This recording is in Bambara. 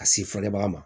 Ka se fɔ baga ma